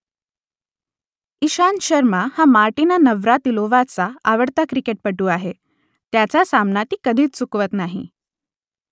इशांत शर्मा हा मार्टिना नवरातिलोव्हाचा आवडता क्रिकेटपटू आहे त्याचा सामना ती कधीच चुकवत नाही